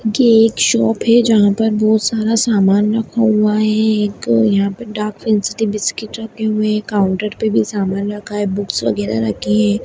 ये एक शॉप है जहाँ पर बहुत सारा सामान रखा हुआ है एक यहाँ पे डार्क फैंटसी बिस्कुट रखे हुए हैं काउन्टर पे भी सामान रखा है बुक्स वगैरा रखे हैं।